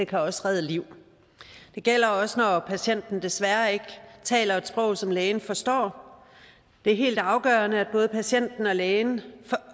kan også redde liv det gælder også når patienten desværre ikke taler et sprog som lægen forstår det er helt afgørende for både patienten og lægen